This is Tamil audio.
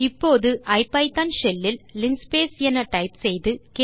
இப்போது ஐபிதான் ஷெல் இல் லின்ஸ்பேஸ் என டைப் செய்து